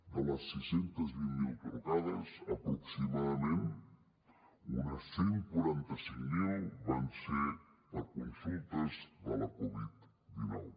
de les sis cents i vint miler trucades aproximadament unes cent i quaranta cinc mil van ser per consultes de la covid dinou